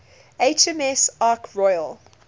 hms ark royal